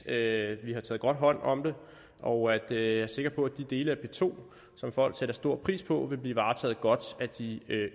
at vi har taget godt hånd om det og at jeg er sikker på at de dele af p to som folk sætter stor pris på vil blive varetaget godt af de